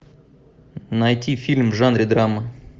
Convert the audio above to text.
найти фильм в жанре драма